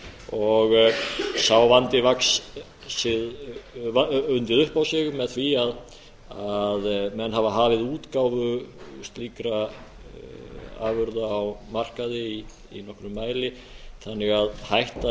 og sá vandi undið upp á sig með því að menn hafa hafið útgáfu slíkra afurða á markaði í nokkrum mæli þannig að hætta